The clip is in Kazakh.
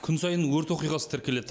күн сайын өрт оқиғасы тіркеледі